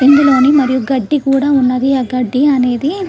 ఇందులోనే మరియు గడ్డి కూడా ఉన్నది ఆ గడ్డి అనేది --